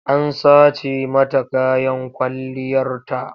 An sace mata kayan kwalliyarta.